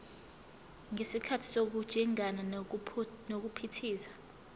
ngesikhathi sokujingana nokuphithiza